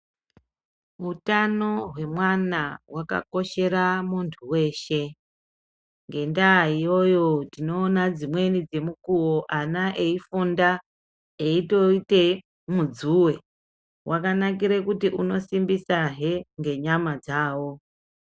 Utano hwemwana hwakakoshera muntu weshe ngendaa iyoyo tinoona dzimweni dzemukuwo ana eifunda eitoite mudzuwe, wakanakire kuti unosimbisa hee ngenyama dzawo